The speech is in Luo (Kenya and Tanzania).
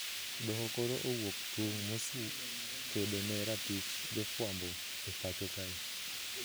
Doho koro owuok tung` mosu kedo ne ratich jofuambo e pacho kae